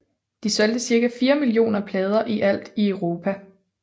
De solgte cirka 4 millioner plader i alt i Europa